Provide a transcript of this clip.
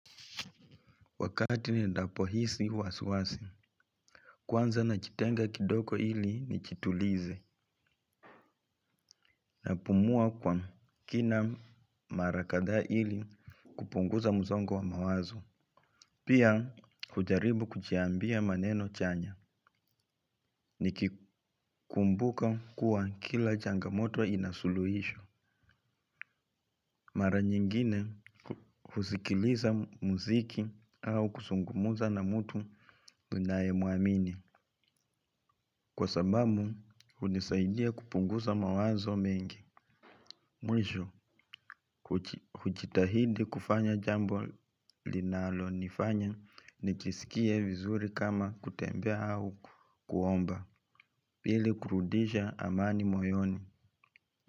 Wakati niendapo hisi wasiwasi, kwanza najitenga kidogo ili nijitulize napumua kwa kina mara kadhaa ili kupunguza msongo wa mawazo. Pia kujaribu kujiambia maneno chanya nikikumbuka kuwa kila changamoto ina suluhisho. Mara nyingine husikiliza muziki au kuzungumza na mtu ninayemuamini. Kwa sababu, hunisaidia kupunguza mawazo mengi. Mwisho, hujitahidi kufanya jambo linalonifanya nikiskie vizuri kama kutembea au kuomba. Pili kurudisha amani moyoni.